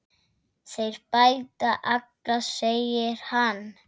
Þeir bæta alla, segir hann.